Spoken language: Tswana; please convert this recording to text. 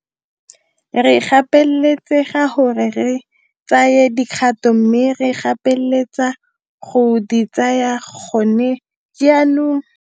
Re gapeletsega gore re tsaye dikgato mme re gapeletsega go di tsaya gone jaanong.